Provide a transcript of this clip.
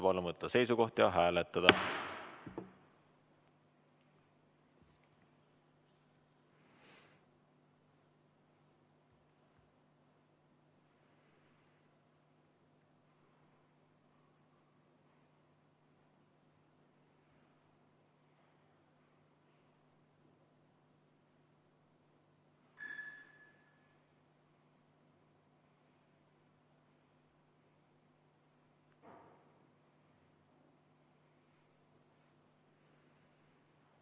Palun võtta seisukoht ja hääletada!